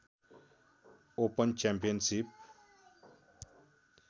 open championship